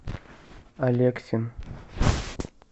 алексин